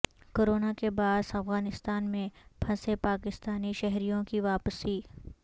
corona کے باعث افغانستان میں پھنسے پاکستانی شہریوں کی واپسی